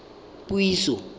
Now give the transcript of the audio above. puiso